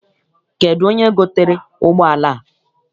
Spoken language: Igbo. Kedụ onye gotere ụgbọala a?